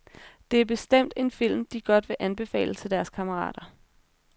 Det er bestemt en film, de godt vil anbefale til deres kammerater.